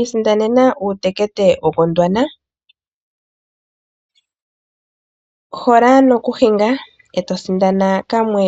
Isindanene uutekete woGondwana. Hola nokuhinga e to sindana kamwe